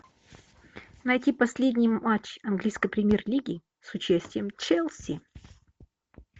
найти последний матч английской премьер лиги с участием челси